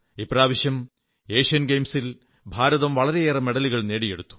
ഇപ്രാവശ്യം ഏഷ്യൻ ഗെയിംസിൽ ഭാരതം വളരെയേറെ മെഡലുകൾ നേടിയെടുത്തു